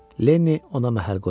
Lenni ona məhəl qoymadı.